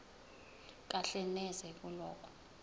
kahle neze kulokho